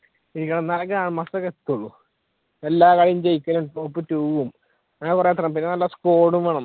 ഇരിക്കണം എന്നാലേ grandmaster ഒക്കെ എത്തൂള് എല്ലാ കളി ജയിക്കലും top two ഉം അങ്ങനെ കുറെ നല്ല squad ഉം വേണം